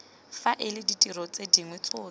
faela ditiro tse dingwe tsotlhe